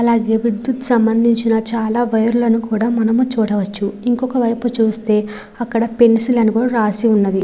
అలాగే విద్యుత్ కి సంభందించిన చాలా వైర్ లను కూడా మనం చూడవచ్చు ఇంకొక వైపు చూస్తే అక్కడ పెన్సిల్ అని కూడా రాసి ఉంది.